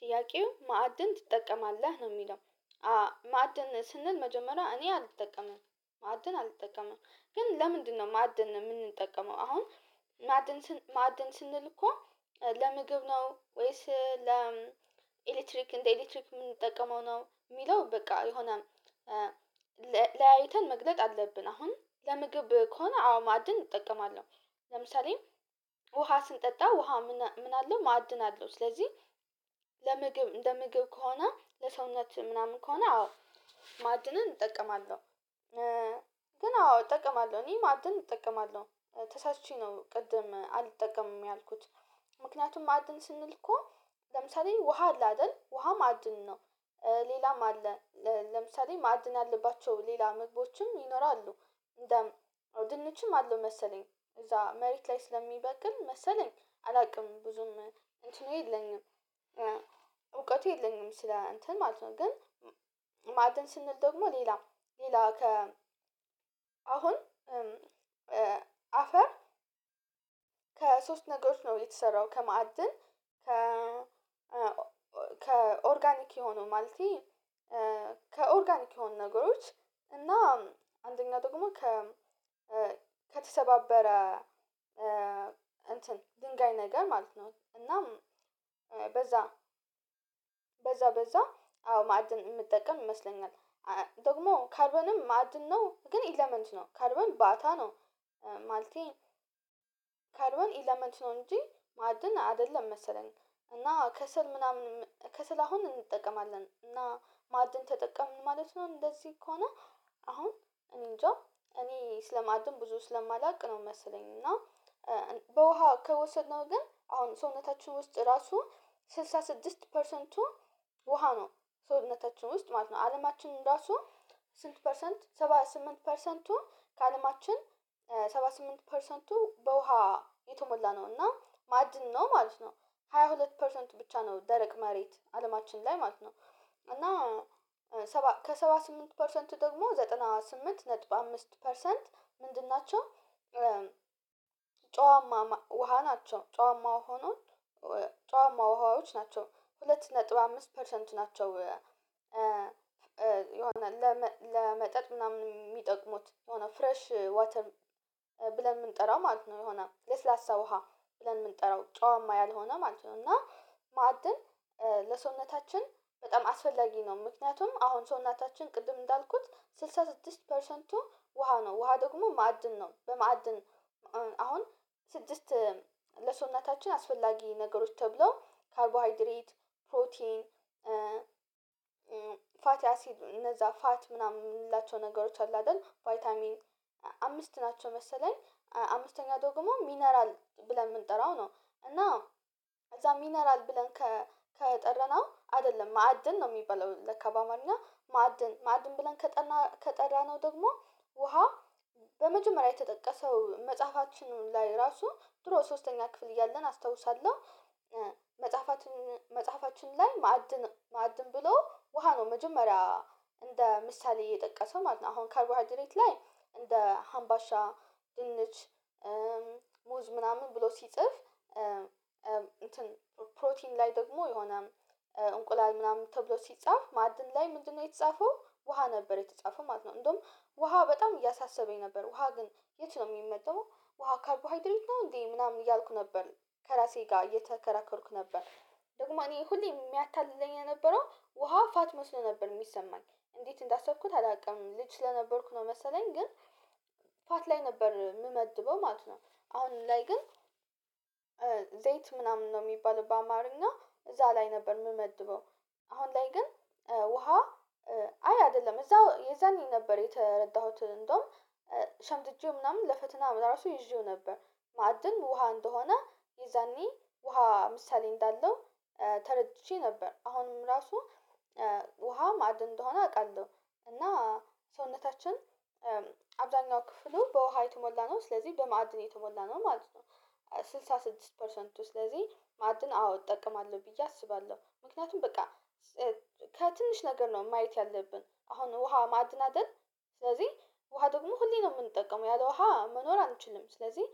ጥያቄው ማዕድን ትጠቀማለህ ነው የሚለው? ማዕድን ስንል መጀመሪያ እኔ አልጠቀምም ማዕድን አልጠቀምም ግን ለምንድነው ማዕድን ነው የምንጠቀመው? አሁን ማዕድን ማዕድን ስንል እኮ ለምግብ ነው ወይስ ለኤሌክትሪክ እንደ ኤሌክትሪክ የምንጠቀመው ነው የሚለው? በቃ የሆነ ለያይተን መግለጥ አለብን። አሁን ለምግብ ከሆነ አዎ ማዕድን እጠቀማለሁ። ለምሳሌ ውሃ ስንጠጣ ውሃ ምን አለው ማዕድን አለው። ስለዚህ ለምግብ እንደ ምግብ ከሆነ ለሰውነት ምናምን ከሆነ አዎ ማዕድንን እጠቀማለሁ። ግን አዎ እጠቀማለሁ እኔ ማዕድን እጠቀማለሁ ተሳችቼ ነው ቅድም አልጠቀምም ያልኩት። ምክንያቱም ማዕድን ስንል እኮ ለምሳሌ ውሃ አለ አይደል ውሃም ማድን ነው። ሌላም አለ። ለምሳሌ ማዕድን አለባቸው ሌላ ምግቦች ይኖራሉ እንደው ድንችም አለው መሰለኝ። እዛ መሬት ላይ ስለሚበቅል መሰለኝ አላውቅም። ብዙም እንትኑ የለኝም የለኝም ስለ እንትን ማለት ነው ግን። ማዕድን ስንል ደግሞ ሌላ ሌላ ከ አሁን አፈር ከሶስት ነገሮች ነው የተሰራው። ከመአድን ከ ከኦርጋኒክ የሆነው ማለት ከኦርጋኒክ የሆኑ ነገሮች እና አንደኛ ደግሞ ከተሰባበረ እንትን ድንጋይ ነገር ማለት ነው። እናም በዛ በዛ በዛ አዎ ማዕድን የምጠቀም ይመስለኛል። ደግሞ ካልሆነም ማዕድን ነው ግን ኢለመንት ነው ካርቦን ባታ ነው። ማለቴ ካርቦን ኢለመንት ነው እንጂ ማዕድን አይደለም መሰለን። እና ከሰል ምናምን ከሰል አሁን እንጠቀማለን እና ማዕድን ተጠቀምን ማለት ነው። እንደዚህ ከሆነ አሁን እኔንጃ እኔ ስለማዕድን ብዙ ስለማላውቅ ነው። መመስለኝ እና በውሃ ከወሰድነው ግን አሁን ሰውነታችን ውስጥ ራሱ ስልሳ ስድስት ፐርሰንቱ ውሃ ነው። ሰውነታችን ውስጥ ማለት ነው። አለማችንን ራሱ ስንት ፐርሰንት ሰባ ስምንት ፐርሰንቱ ከአለማችን ሰባ ስምንት ፐርሰንቱ በውሃ የተሞላ ነው። እና ማድን ነው ማለት ነው። ሃያ ሁለት ፐርሰንቱ ብቻ ነው ደረቅ መሬት አለማችን ላይ ማለት ነው። እና ከሰባ ስምንት ፐርሰንቱ ደግሞ ዘጠና ስምንት ነጥብ አምስት ፐርሰንት ምንድን ናቸው? ጨዋማ ውሃ ናቸው ጨዋማው ሆኖ ጨዋማው ውሃዎች ናቸው ሁለት ሁለት ነጥብ አምስት ፐርሰንት ናቸው። የሆነ ለመጠጥ ምናምን የሚጠቅሙት የሆነ ፍሬሽ ዋተር ብለን የምንጠራው ማለት ነው። የሆነ ለስላሳ ውሃ ብለን የምንጠራው ጨዋማ ያልሆነ ማለት ነው። እና ማዕድን ለሰውነታችን በጣም አስፈላጊ ነው። ምክንያቱም አሁን ሰውነታችን ቅድም እንዳልኩት ስልሳ ስድስት ፐርሰንቱ ውሃ ነው። ውሃ ደግሞ ማዕድን ነው። በማዕድን አሁን ስድስት ለሰውነታችን አስፈላጊ ነገሮች ተብለው ካርቦሃይድሬት ፕሮቲን ፋቲ አሲድ እነዛ ፋት ምናምን የምንላቸው ነገሮች አሉ አይደል ቫይታሚን አምስት ናቸው መሰለኝ አምስተኛ ደግሞ ሚነራል ብለን የምንጠራው ነው። እና እዛ ሚነራል ብለን ከጠረነው አይደለም ማዕድን ነው የሚባለው። ለካ በአማርኛ ማዕድን ማዕድን ብለን ከጠራነው ደግሞ ውሃ በመጀመሪያ የተጠቀሰው መጽሐፋችን ላይ ራሱ ድሮ ሶስተኛ ክፍል እያለን አስታውሳለሁ። መጽሐፋችን መጽሐፋችን ላይ ማዕድን ማዕድን ብሎ ውሃ ነው። መጀመሪያ እንደ ምሳሌ የጠቀሰው ማለት ነው። አሁን ካርቦ ሃንድሬት ላይ እንደ ሀምባሻ ድንች ሙዝ ምናምን ብሎ ሲጽፍ እንትን ፕሮቲን ላይ ደግሞ የሆነ እንቁላል ምናምን ተብሎ ሲጻፍ ማዕድን ላይ ምንድነው የተጻፈው ውሃ ነበር የተጻፈው ማለት ነው። እንደውም ውሃ በጣም እያሳሰበኝ ነበር። ውሃ ግን የት ነው የሚመጣው? ውሃ ካርቦሃይድሪት ነው እንዴ ምናምን እያልኩ ነበር። ከራሴ ጋር እየተከራከሩኩ ነበር። ደግሞ እኔ ሁሌ የሚያታልለኝ የነበረው ውሃ ፋት መስሎ ነበር የሚሰማኝ። እንዴት እንዳሰብኩት አላውቅም ልጅ ስለነበርኩ ነው መሰለኝ ግን ፋት ላይ ነበር የምመድበው ማለት ነው። አሁን ላይ ግን ምናምን ነው የሚባለው በአማርኛ እዛ ላይ ነበር የምመድበው። አሁን ላይ ግን ውሃ አይ አይደለም እዛው የዛኔ ነበር የተረዳሁት። እንደውም ሸምድጄው ምናምን ለፈትና መድረሱ ይዤው ነበር። ማዕድን ውሃ እንደሆነ ይዘኔ ውሃ ምሳሌ እንዳለው ተረድቼ ነበር። አሁንም ራሱ ውሃ ማዕድ እንደሆነ አውቃለሁ። እና ሰውነታችን አብዛኛው ክፍሉ በውሃ የተሞላ ነው ስለዚህ በማዕድን የተሞላ ነው ማለት ነው። ስልሳ ስድስት ፐርሰንቱ ስለዚህ ማዕድን አዎ እጠቀማለሁ ብዬ አስባለሁ። ምክንያቱም በቃ ከትንሽ ነገር ነው ማየት ያለብን። አሁን ውሃ ማዕድናድን ስለዚህ ውሃ ደግሞ ሁሌ ነው የምንጠቀመው ያለ ውሃ መኖር አንችልም ስለዚህ